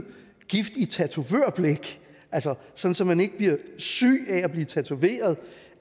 gift i tatovørblæk så så man ikke bliver syg af at blive tatoveret